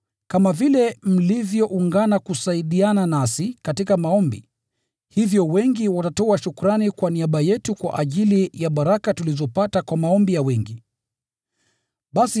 Kama vile mlivyoungana kusaidiana nasi katika maombi, hivyo wengi watatoa shukrani kwa niaba yetu kwa ajili ya baraka za neema tulizopata kwa majibu ya maombi ya wengi.